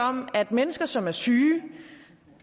om at mennesker som er syge